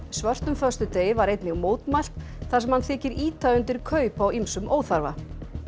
svörtum föstudegi var einnig mótmælt þar sem hann þykir ýta undir kaup á ýmsum óþarfa